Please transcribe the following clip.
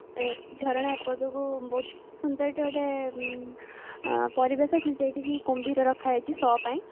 ଝରଣା ଏପଟକୁ ବହୁତ ସୁନ୍ଦର ହେଇଠି ଗୋଟେ ପରିବେଶ ଅଛି ସେଇଠି କି କୁମ୍ଭୀର ରଖାଯାଇଛି show ପାଇଁ